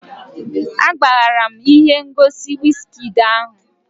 Agbaghara m ihe ngosi wizkid ahụ